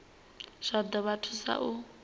zwa ḓo vha thusa u